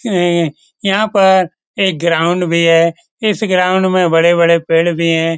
इम्म यहाँ पर एक ग्राउंड भी है। इस ग्राउंड में बड़े-बड़े पेड़ भी है।